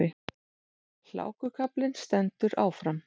Hlákukaflinn stendur áfram